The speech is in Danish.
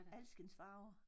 Alskens farver